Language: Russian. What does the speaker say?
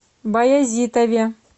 баязитове